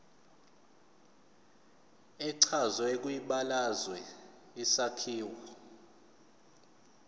echazwe kwibalazwe isakhiwo